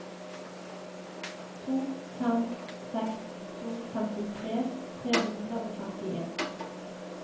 to fem seks to femtitre tre hundre og femtien